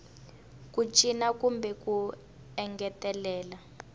ku cinca kumbe ku engetelela